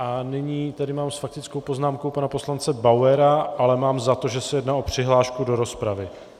A nyní tady mám s faktickou poznámkou pana poslance Bauera, ale mám za to, že se jedná o přihlášku do rozpravy.